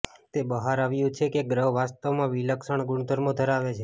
તે બહાર આવ્યું છે કે ગ્રહ વાસ્તવમાં વિલક્ષણ ગુણધર્મો ધરાવે છે